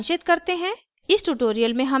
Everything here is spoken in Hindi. इसको सारांशित करते हैं